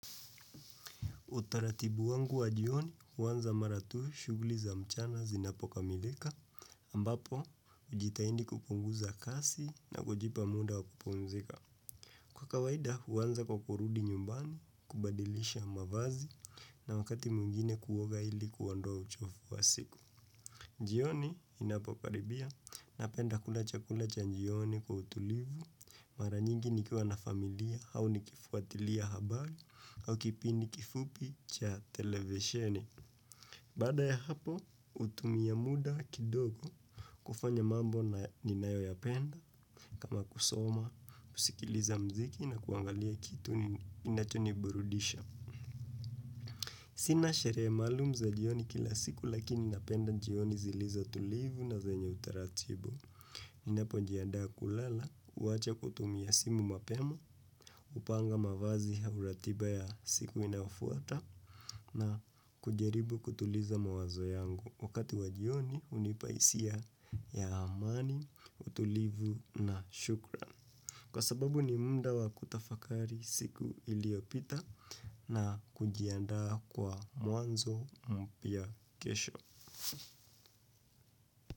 Utaratibu wangu wa jioni huanza mara tu shughuli za mchana zinapokamilika ambapo hujitahidi kupunguza kasi na kujipa muda wa kupumzika. Kwa kawaida huanza kwa kurudi nyumbani kubadilisha mavazi na wakati mwingine kuoga ili kuondoa uchovu wa siku. Jioni inapokaribia napenda kula chakula cha jioni kwa utulivu, mara nyingi nikiwa na familia au nikifuatilia habari au kipindi kifupi cha televisheni. Baada ya hapo, hutumia muda kidogo kufanya mambo ninayoyapenda, kama kusoma, kusikiliza muziki na kuangalia kitu inachoniburudisha. Sina sherehe maalum za jioni kila siku lakini napenda jioni zilizo tulivu na zenyo utaratibu. Ninapojiandaa kulala, huacha kutumia simu mapema, hupanga mavazi au ratiba ya siku inayofuata na kujaribu kutuliza mawazo yangu. Wakati wa jioni hunipa hisia ya amani, utulivu na shukran. Kwa sababu ni muda wa kutafakari siku iliopita na kujiandaa kwa mwanzo mpya kesho.